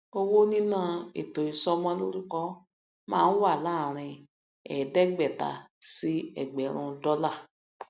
owó níná ètò isọmọ lórúkọ máa ń wà láàárín ẹẹdẹgbẹta sí ẹgbẹrún dólà